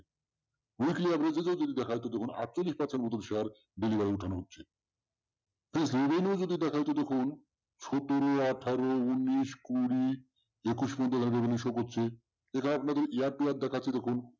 weekly average দেখানো হয় তাহলে দেখুন আতছলিশ পেরচেন্ত মতো শেয়ার ডেলিভার উঠানো হচ্ছে দেখা হয় তো দেখুন উনিশ কুড়ি